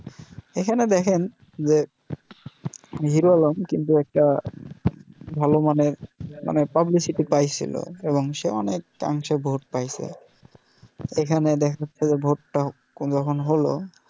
এখানে দেখেন যে hero alarm কিন্তু একটা ভালও মানের মানে publicity পাইছিল এবং সে অনেক মানুষের ভোট পেয়েছে। এখানে দেখাচ্ছে যে ভোট টা কোনও রকম হলও